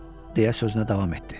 deyə sözünə davam etdi.